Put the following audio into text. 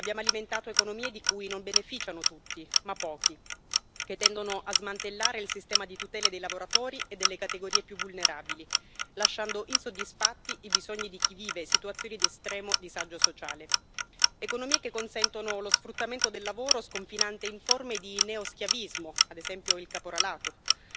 Abbiamo alimentato economie di cui non beneficiano tutti, ma pochi, che tendono a smantellare il sistema di tutele dei lavoratori e delle categorie più vulnerabili, lasciando insoddisfatti i bisogni di chi vive situazioni di estremo disagio sociale, economie che consentono lo sfruttamento del lavoro, sconfinante in forme di neoschiavismo, ad esempio il caporalato.